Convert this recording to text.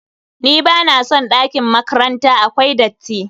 NBa na son ɗakin makranta, akwai datti.